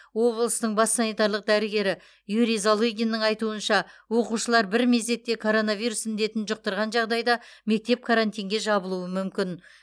облыстың бас санитарлық дәрігері юрий залыгиннің айтуынша оқушылар бір мезетте коронавирус індетін жұқтырған жағдайда мектеп карантинге жабылуы мүмкін